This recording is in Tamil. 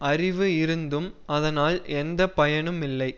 அறிவு இருந்தும் அதனால் எந்த பயனுமில்லை